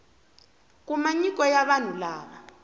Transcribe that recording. kuma nyiko ya vanhu lava